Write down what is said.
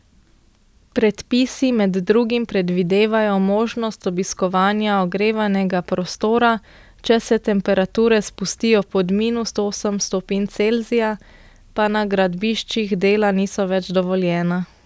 Predpisi med drugim predvidevajo možnost obiskovanja ogrevanega prostora, če se temperature spustijo pod minus osem stopinj Celzija, pa na gradbiščih dela niso več dovoljena.